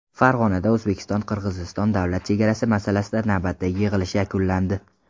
Farg‘onada O‘zbekiston-Qirg‘iziston davlat chegarasi masalasida navbatdagi yig‘ilish yakunlandi.